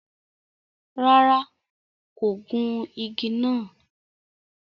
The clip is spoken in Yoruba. Ràrá, kò gùn ìgi nàá